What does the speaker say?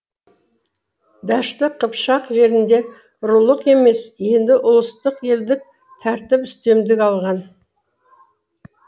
дәшті қыпшақ жерінде рулық емес енді ұлыстық елдік тәртіп үстемдік алған